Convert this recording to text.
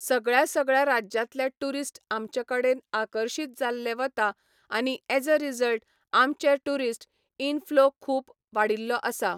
सगळ्यां सगळ्यां राज्यांतले टूरिस्ट आमचे कडेन आकर्शीत जाल्ले वता आनी एज अ रिजल्ट आमचे टूरिस्ट इनफ्लो खूब वाडिल्लो आसा.